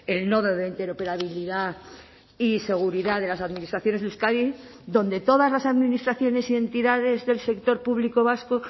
el nodo de interoperabilidad y seguridad de las administraciones de euskadi donde todas las administraciones y entidades del sector público vasco